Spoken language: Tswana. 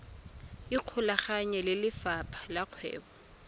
ikgolaganye le lefapha la kgwebo